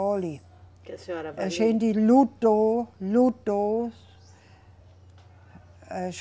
Olhe. Que a senhora. A gente lutou, lutou. Eh